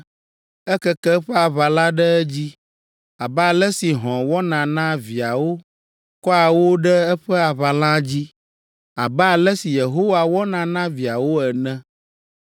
Ekeke eƒe aʋala ɖe edzi abe ale si hɔ̃ wɔna na viawo, kɔa wo ɖe eƒe aʋalã dzi, abe ale si Yehowa wɔna na viawo ene!